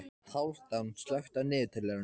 Hálfdán, slökktu á niðurteljaranum.